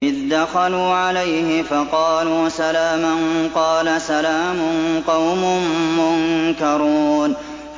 إِذْ دَخَلُوا عَلَيْهِ فَقَالُوا سَلَامًا ۖ قَالَ سَلَامٌ قَوْمٌ مُّنكَرُونَ